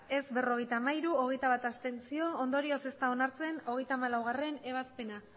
ez berrogeita hamairu abstentzioak hogeita bat ondorioz ez da onartzen hogeita hamalaugarrena ebazpena